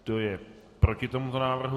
Kdo je proti tomuto návrhu?